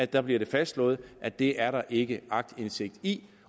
der bliver det fastslået at det er der ikke aktindsigt i